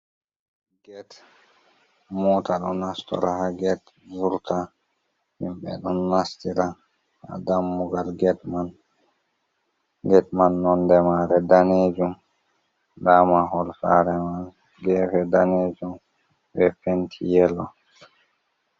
Get. Mota ɗo nastora haa get, vurta, himɓɓe ɗon nastira haa dammugal get man. Get man nonde maare daneejum, nda mahol saare man geefe daneejum, be penti yelo.